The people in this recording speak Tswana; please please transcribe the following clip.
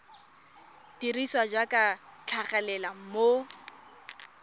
dirisiwa jaaka di tlhagelela mo